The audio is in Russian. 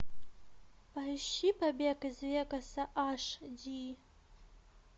поищи побег из вегаса аш ди